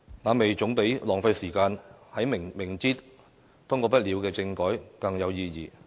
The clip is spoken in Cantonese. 那麼，總比浪費時間在明知通過不了的政改更有意義。